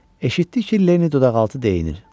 Eşitdi ki, Lenni dodaqaltı deyinir.